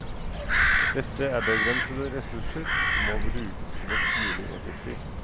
Dette er begrensede ressurser som må brukes mest mulig effektivt.